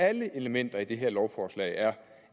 alle elementer i det her lovforslag er